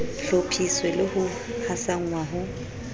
hlophiswe le ho hasanngwa ho